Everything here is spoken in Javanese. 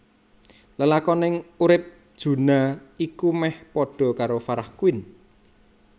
Lelakoning urip Juna iku meh padha karo Farah Quinn